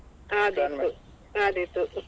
ovrlap ಆದೀತು.